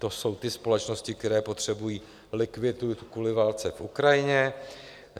To jsou ty společnosti, které potřebují likviditu kvůli válce na Ukrajině.